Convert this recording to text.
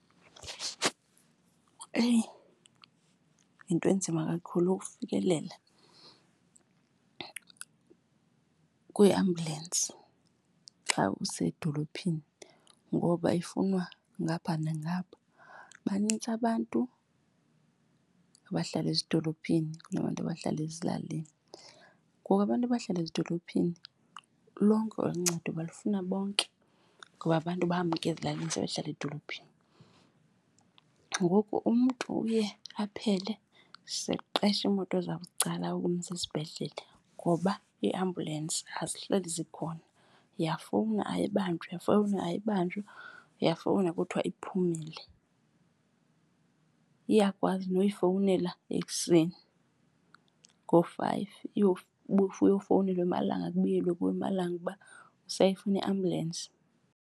Eyi yinto enzima kakhulu ukufikelela kwiiambyulensi xa usedolophini ngoba ifunwa ngapha nangapha, banintsi abantu abahlala ezidolophini kunabantu abahlala ezilalini. Ngoku abantu abahlala ezidolophini lonke uncedo balufuna bonke ngoba abantu bamka ezilalini sebehlala edolophini. Kuba ngoku umntu uye aphele seqesha iimoto zabucala ukumsa esibhedlele, ngoba iiambulensi azihleli zikhona. Uyafowuna ayibanjwa, uyafowuna ayibanjwa, uyafowuna kuthiwe iphumile. Iyakwazi noyifowunela ekuseni ngoo-five ufowunelwe emalanga, kubuyelwe kuwe emalanga uba usayifuna iambulensi.